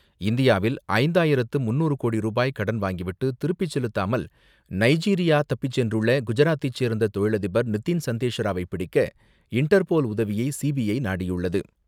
இந்தியாவில் ஐந்தாயிரத்து முன்னூறு கோடி ரூபாய் கடன் வாங்கிவிட்டு திருப்பிச் செலுத்தாமல் நைஜீரியா தப்பிச் சென்றுள்ள குஜராத்தைச் சேர்ந்த தொழிலதிபர் நிதின் சந்தேஷராவை பிடிக்க இண்டர்போல் உதவியை சிபிஐ நாடியுள்ளது.